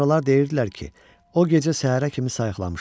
Sonralar deyirdilər ki, o gecə səhərə kimi sayıqlamışam.